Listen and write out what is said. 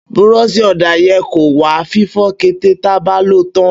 Búrọsì ọda yẹ kọ wà fífọ kẹtẹ tàbá lọ tàn